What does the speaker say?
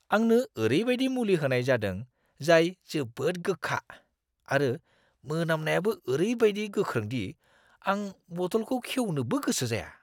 आंनो ओरैबायदि मुलि होनाय जादों जाय जोबोद गोखा आरो मोनामनायाबो ओरैबादि गोख्रों दि आं बथलखौ खेवनोबो गोसो जाया!